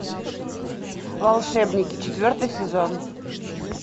волшебники четвертый сезон